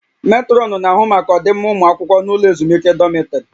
Metrọnụ na-ahụ maka ọdịmma ụmụ akwụkwọ n'ụlọ ezumike dọmịtrị